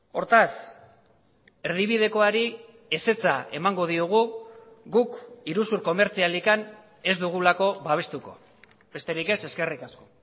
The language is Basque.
hortaz erdibidekoari ezetza emango diogu guk iruzur komertzialik ez dugulako babestuko besterik ez eskerrik asko